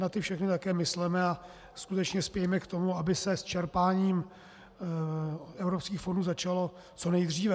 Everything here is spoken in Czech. Na ty všechny také mysleme a skutečně spějme k tomu, aby se s čerpáním evropských fondů začalo co nejdříve.